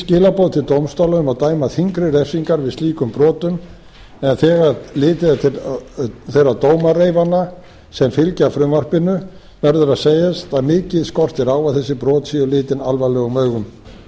skilaboð til dómstóla um að dæma þyngri refsingar við slíkum brotum en þegar litið er til þeirra dómareifana sem fylgja frumvarpinu verður að segjast að mikið skortir á að þessi brot séu litin alvarlegum augum